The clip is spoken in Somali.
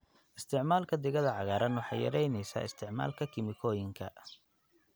Isticmaalka digada cagaaran waxay yaraynaysaa isticmaalka kiimikooyinka.